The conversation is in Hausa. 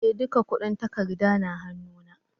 Eh, duka kudin takarda na hannu na.